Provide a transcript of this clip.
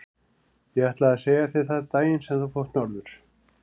Ég ætlaði að segja þér það daginn sem þú fórst norður.